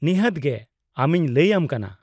-ᱱᱤᱦᱟᱹᱛ ᱜᱮ, ᱟᱢᱤᱧ ᱞᱟᱭ ᱟᱢ ᱠᱟᱱᱟ ᱾